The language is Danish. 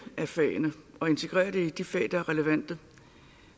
af fagene og integrerer det i de fag der er relevante